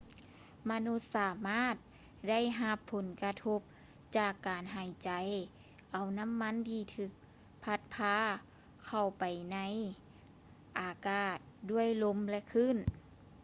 ມະນຸດສາມາດໄດ້ຮັບຜົນກະທົບຈາກການຫາຍໃຈເອົານໍ້າທີ່ຖືກພັດພາເຂົ້າໄປໃນອາກາດດ້ວຍລົມ ແລະ ຄື້ນ